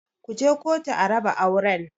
Ku je kotu a raba auren!